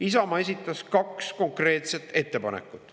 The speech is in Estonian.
Isamaa esitas kaks konkreetset ettepanekut.